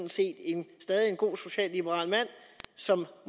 stadig er en god socialliberal mand som